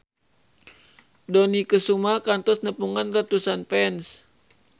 Dony Kesuma kantos nepungan ratusan fans